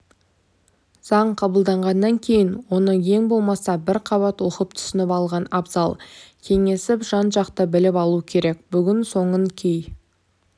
заң қабылдағаннан кейін оны ең болмаса бір қабат оқып түсініп алған абзал кеңесіп жан жақты біліп алу керек бүгін соның кей